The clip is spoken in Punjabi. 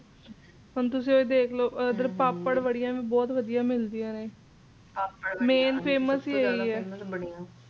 ਹੁਣ ਤੁਸੀਂ ਇਹ ਦੇਖਲੋ ਇਧਰ ਪਾਪੜ ਵੜਿਆ ਬਹੁਤ ਵਧੀਆ ਮਿਲਦੀਆਂ ਨੇ main famous ਹੀ ਇਹੀ ਏ